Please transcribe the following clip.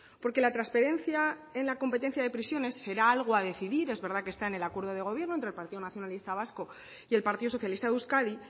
porque la transferencia en la competencia de prisiones será algo a decidir es verdad que está en el acuerdo de gobierno entre el partido nacionalista vasco y el partido socialista de euskadi